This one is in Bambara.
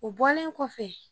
O bɔlen kɔfɛ